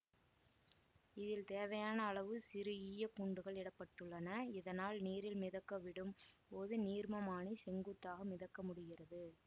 இதில் தேவையான அளவு சிறு ஈயக்குண்டுகள் இடப்பட்டுள்ளன இதனால் நீரில் மிதக்கவிடும் போது நீர்மமானி செங்குத்தாக மிதக்க முடிகிறது